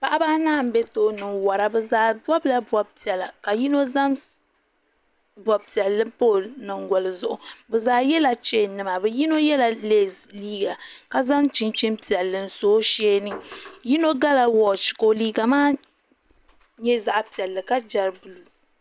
paɣiba anahi m-be tooni n-wara bɛ zaa bɔbila bɔbi' piɛla ka yino zaŋ bɔbi' piɛlli pa o nyiŋgoli zuɣu bɛ zaa yɛla cheeninima bɛ yino yɛla leesi liiga ka zaŋ chinchin' piɛlli n-so o shee ni yino gala wɔchi ka o liiga maa nyɛ zaɣ' piɛlli ka gari buluu